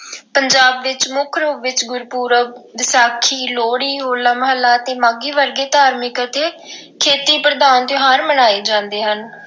ਪੰਜਾਬ ਵਿੱਚ ਮੁੱਖ ਰੂਪ ਵਿੱਚ ਗੁਰਪੁਰਬ, ਵਿਸਾਖੀ, ਲੋਹੜੀ, ਹੋਲਾ-ਮਹੱਲਾ ਅਤੇ ਮਾਘੀ ਵਰਗੇ ਧਾਰਮਿਕ ਅਤੇ ਖੇਤੀ ਪ੍ਰਧਾਨ ਤਿਉਹਾਰ ਮਨਾਏ ਜਾਂਦੇ ਹਨ।